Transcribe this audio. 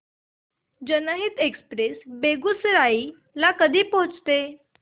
जनहित एक्सप्रेस बेगूसराई ला कधी पोहचते